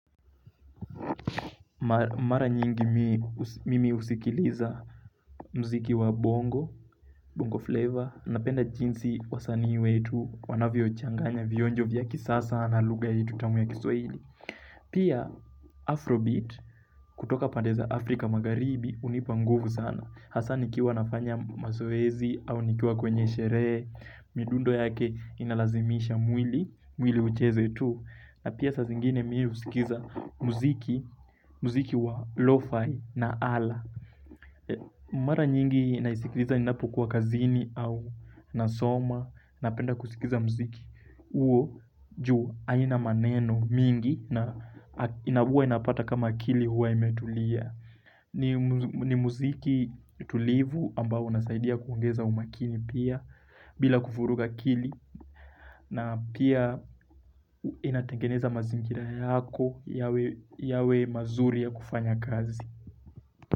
Mara nyingi mimi husikiliza muziki wa bongo, bongo flavor, napenda jinsi wasanii wetu, wanavyochanganya vionjo vya kisasa na lugha yetu tamu ya kiswahili. Pia Afrobeat, kutoka pande za Afrika magharibi, hunipa nguvu sana. Hasa nikiwa nafanya mazoezi au nikiwa kwenye sherehe, midundo yake inalazimisha mwili, mwili ucheze tu. Na pia saa zingine mimi husikiza muziki, muziki wa lofa na ala Mara nyingi naisikiliza ninapokua kazini au nasoma Napenda kusikiza muziki uo juu haina maneno mingi na inabua inapata kama akili huwa imetulia ni muziki tulivu ambao unasaidia kuongeza umakini pia bila kuvuruga akili na pia inatengeneza mazingira yako yawe mazuri ya kufanya kazi.